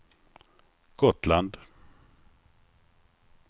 Gotland